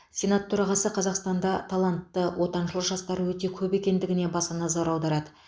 сенат төрағасы қазақстанда талантты отаншыл жастар өте көп екендігіне баса назар аударады